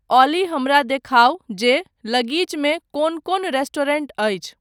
ऑली हमरा देखाउ जे लगीचमे कोन कोन रेस्टोरेंट अछि।